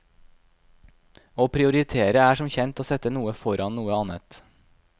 Å prioritere er som kjent å sette noe foran noe annet.